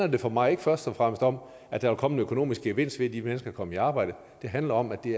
det for mig ikke først og fremmest om at der ville komme en økonomisk gevinst ved at de mennesker kom i arbejde det handler om at det